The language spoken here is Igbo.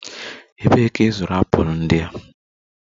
Ebee ka ị zụrụ apụl ndị a?